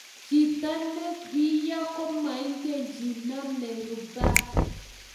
Chito nebiyo komaingen chi name ruba